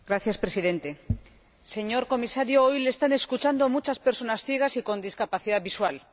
Señor Presidente, señor Comisario, hoy le están escuchando muchas personas ciegas y con discapacidad visual.